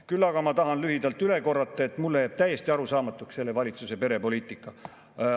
Küll aga tahan lühidalt üle korrata, et mulle jääb täiesti arusaamatuks selle valitsuse perepoliitika.